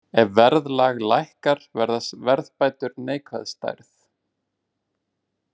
Ef verðlag lækkar verða verðbætur neikvæð stærð.